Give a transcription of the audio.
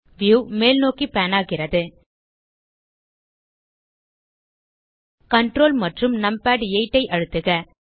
view மேல்நோக்கி pan ஆகிறது ctrl மற்றும் நம்பாட்8 ஐ அழுத்துக